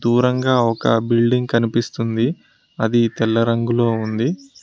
దూరంగా ఒక బిల్డింగ్ కనిపిస్తుంది అది తెల్ల రంగులో ఉంది.